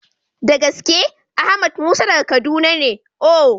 Da gaske! Ahmed Musa daga Kaduna ne ooo.